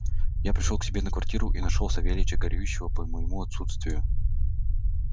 я пришёл к себе на квартиру и нашёл савельича горюющего по моему отсутствию